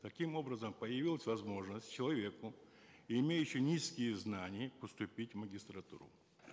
таким образом появилась возможность человеку имеющему низкие знания поступить в магистратуру